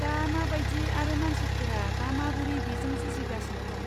दा मा बायदि आरो मानसिफोरा दा माबोरै बेजों जुजिगासिनो दं।